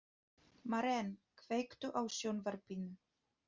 Maren, kveiktu á sjónvarpinu.